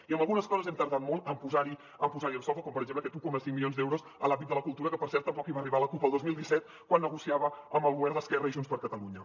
i en algunes coses hem tardat molt en posar les en solfa com per exemple aquests un coma cinc milions d’euros a l’àmbit de la cultura que per cert tampoc hi va arribar la cup el dos mil disset quan negociava amb el govern d’esquerra i junts per catalunya